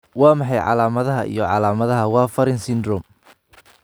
Waa maxay calaamadaha iyo calaamadaha Warfarin syndrome?